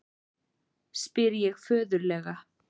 spyr ég föðurlega.